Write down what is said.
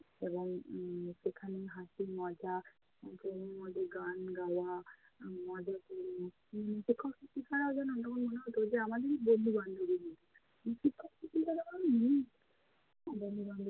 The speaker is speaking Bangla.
এবং উম সেখানে হাসি মজা মধ্যে গান গাওয়া, উম মজা কোরে শিক্ষক শিক্ষিকারা যেন আমাদেরই বন্ধু-বান্ধবী মতো। মানে শিক্ষক শিক্ষিকাদের বন্ধু-বান্ধবীর।